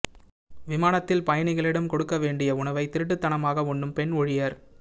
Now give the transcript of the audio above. விமானத்தில் பயணிகளிடம் கொடுக்க வேண்டிய உணவை திருட்டுத் தனமாக உண்ணும் பெண் ஊழியர்